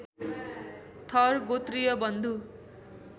थर गोत्रीय बन्धु